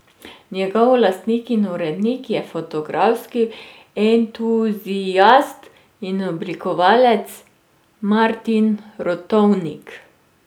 Njegov lastnik in urednik je fotografski entuziast in oblikovalec Martin Rotovnik.